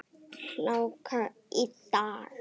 Hláka í dag.